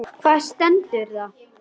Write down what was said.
Hvar stendur það?